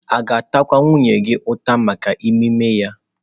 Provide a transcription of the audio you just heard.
A ga-atakwa nwunye gị ụta maka ime ime ya?